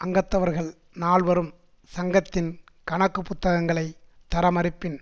அங்கத்தவர்கள் நால்வரும் சங்கத்தின் கணக்கு புத்தகங்களை தர மறுப்பின்